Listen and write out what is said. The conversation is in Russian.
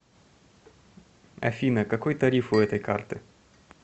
афина какой тариф у этой карты